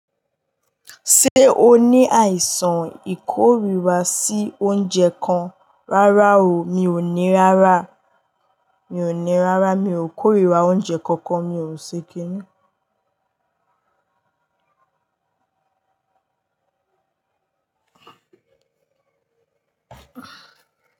Ṣé o ní àìsàn ìkóríra sí oúnjẹ kan? Rárá o, mi ò ní rárá, mi ò kóríra oúnjẹ kankan, mi ò ṣe kini.